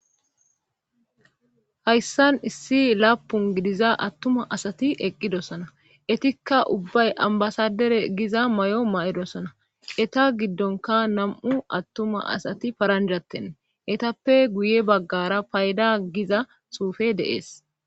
hayssan issi laapun gidiza attuma asati eqqidosona etikka ubbay ambasadere giza may7o ma7edosona eta giddonka nam7u attuma asati paranjatten etappe guye baggara payda giza suufe deees